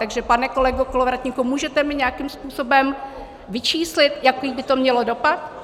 Takže pane kolego Kolovratníku, můžete mi nějakým způsobem vyčíslit, jaký by to mělo dopad?